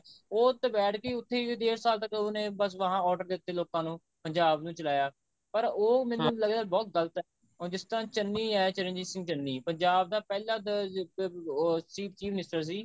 ਉਹ ਉੱਥੇ ਬੈਠ ਕੇ ਉੱਥੇ ਡੇਢ ਸਾਲ ਤੱਕ ਉਹਨੇ ਬੱਸ ਵਹਾਂ order ਦਿੱਤੇ ਲੋਕਾ ਨੂੰ ਪੰਜਾਬ ਨੂੰ ਚਿਲਾਇਆ ਪਰ ਉਹ ਲੱਗਦਾ ਬਹੁਤ ਗਲਤ ਹੁਣ ਜਿਸ ਤਰ੍ਹਾਂ ਚੰਨੀ ਹੈ ਚਰਨਜੀਤ ਸਿੰਘ ਚੰਨੀ ਪੰਜਾਬ ਦਾ ਪਹਿਲਾਂ ਉਹ chief minister ਸੀ